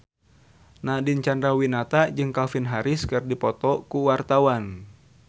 Nadine Chandrawinata jeung Calvin Harris keur dipoto ku wartawan